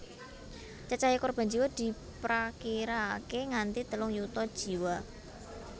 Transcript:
Cacahé korban jiwa diprakirakaké nganti telung yuta jiwa